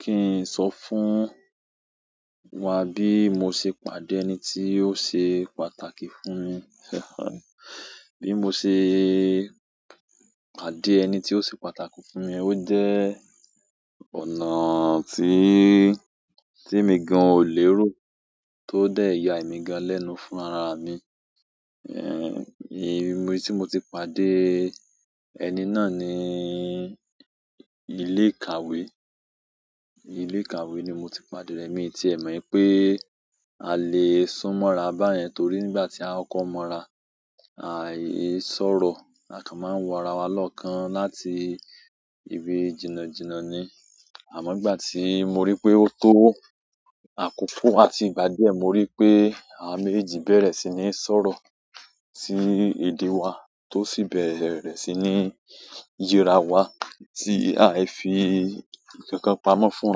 Ki n so fún wa bi mo se pàdé ẹni ti o se pàtàkì fún mi. Bi mo se pàdé ẹni ti o se pàtàkì fún mi o je ọ̀nà tí, tí emi gan ò lérò, tó dé yà emí gan lẹ́nu fún ara mi. Eh, ibi tí mo ti pàdé ẹni náà ni ilé ìkàwé. Ilé ìkàwé ni mo ti pàdé rẹ̀, mii tí è mọ̀ wi pé a lè sún mọ́ra bá yẹn, torí nígbà tí a kọ́ko mọ́ra, àìsọ̀rọ̀, à kàn máa ń wọ ara wa lọ́kàn láti ìbí jìnàjìnà ni. Àmọ́ nígbà tí mo rí pé ó tó àkókò àti ìgbà díẹ̀, mo rí pé àwa mèjejì bẹ̀rẹ̀ sí ní sọ̀rọ̀ tí èdè wa tó sì bẹ̀rẹ̀ sí ní ye ra wa, tí a i fi ikankan pamọ́ fún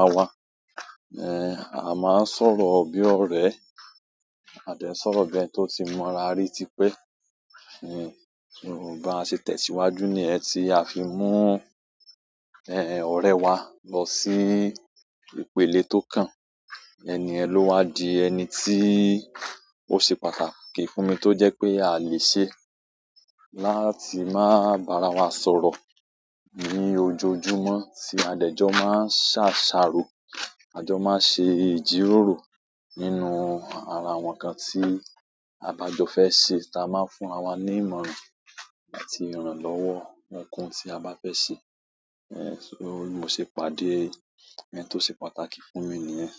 ara wa. A máa ń sọ̀rọ̀ bí ọ̀rẹ́, a dẹ̀ n sọ̀rọ̀ bi ẹ́ni tó ti mọ́ra rí tí pé. So bi a se tẹ̀síwájú ni yẹn ti a fi mú ọ̀rẹ́ wa lọ sí ìpelẹ̀ tó kan. Ẹni yẹn ló wá di ẹni tí ó ṣe pàtàkì fún mi tó jẹ́ pé a a lè ṣe láti máa bá ara wa sọ̀rọ̀ ní ojoojúmọ́ tí adẹjọ máa ń ṣàsáro, adẹjọ máa ń ṣe ìjíròrò nínú ara àwọn kan tí a ba jọ fẹ́ ṣe, táa máa ń fún ra wa ní ìmọ̀ràn àti ìrànlọ́wọ́ ohunkóhun tí a bá fẹ́ ṣe. So bí mo ṣe pàdé ẹni tó ṣe pàtàkì fún mi ni yẹ́n.